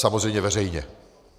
Samozřejmě veřejně.